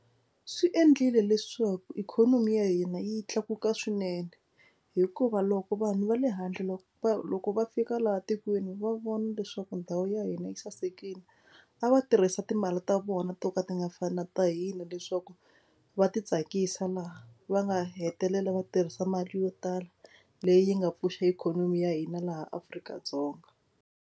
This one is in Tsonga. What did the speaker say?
Swi endlile leswaku ikhonomi ya hina yi tlakuka swinene hikuva loko vanhu va le handle loko va loko va fika laha tikweni va vona leswaku ndhawu ya hina yi sasekile a va tirhisa timali ta vona to ka ti nga fani na ta hina leswaku va titsakisa laha va nga hetelela va tirhisa mali yo tala leyi nga pfuxa ikhonomi ya hina laha Afrika-Dzonga.